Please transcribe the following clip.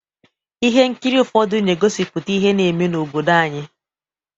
Ihe nkiri ụfọdụ na-egosipụta ihe na-eme n’obodo anyị.